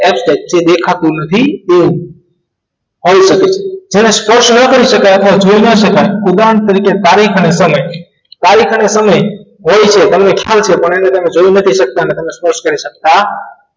hashtag જે દેખાતું નથી તેવો હોઈ શકે જેને સ્પર્શ ન કરી શકાય અથવા જોઈ ન શકાય ઉદાહરણ તરીકે તારીખ અને સમય તારીખ અને સમય હોય છે તમને ખ્યાલ છે પણ તમે એને જોઈ નથી શકતા અને સ્પર્શ નથી કરી શકતા નથી